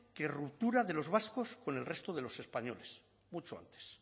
que ruptura de los vascos con el resto de los españoles mucho antes